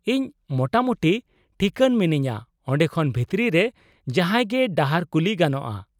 -ᱤᱧ ᱢᱚᱴᱟᱢᱩᱴᱤ ᱴᱷᱤᱠᱟᱹᱱ ᱢᱤᱱᱟᱹᱧᱟᱹ ᱚᱸᱰᱮ ᱠᱷᱚᱱ ᱵᱷᱤᱛᱨᱤ ᱨᱮ ᱡᱟᱦᱟᱸᱭ ᱜᱮ ᱰᱟᱦᱟᱨ ᱠᱩᱞᱤ ᱜᱟᱱᱚᱜᱼᱟ᱾